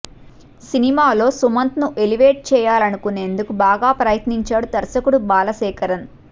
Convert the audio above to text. సినిమాలో సుమంత్ ను ఎలివేట్ చేయాలనేందుకు బాగా ప్రయత్నించాడు దర్శకుడు బాలశేఖరన్